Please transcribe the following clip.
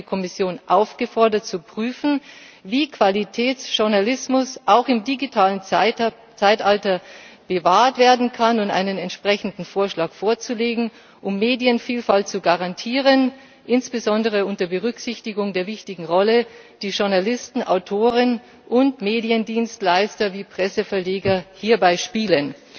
Darin wird die Kommission aufgefordert, zu prüfen, wie Qualitätsjournalismus auch im digitalen Zeitalter bewahrt werden kann, und einen entsprechenden Vorschlag vorzulegen, um Medienvielfalt zu garantieren, insbesondere unter Berücksichtigung der wichtigen Rolle, die Journalisten, Autoren und Mediendienstleister wie Presseverleger hierbei spielen.